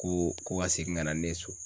Ko ko ka segin ka na ni ne ye so.